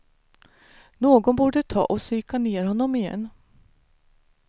Någon borde ta och psyka ner honom igen.